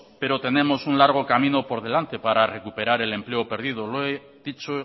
pero tenemos un largo camino por delante para recuperar el empleo perdido lo he dicho